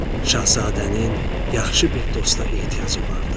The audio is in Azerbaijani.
Şahzadənin yaxşı bir dosta ehtiyacı vardı.